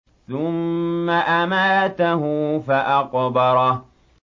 ثُمَّ أَمَاتَهُ فَأَقْبَرَهُ